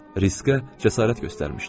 Riskə cəsarət göstərmişdim.